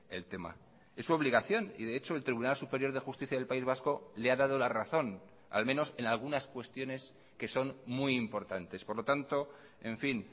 el tema es su obligación y de hecho el tribunal superior de justicia del país vasco le ha dado la razón al menos en algunas cuestiones que son muy importantes por lo tanto en fin